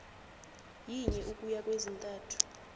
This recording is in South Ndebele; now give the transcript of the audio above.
yinye ukuya kwezintathu